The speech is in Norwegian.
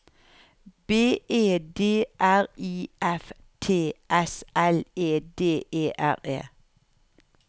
B E D R I F T S L E D E R E